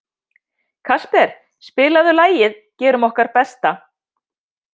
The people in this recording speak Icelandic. Kasper, spilaðu lagið „Gerum okkar besta“.